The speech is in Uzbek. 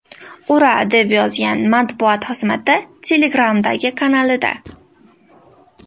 Ura”, deb yozgan matbuot xizmati Telegram’dagi kanalida.